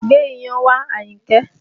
Gbé iyán wá, Ayinke!